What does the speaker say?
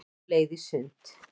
Á leið í sund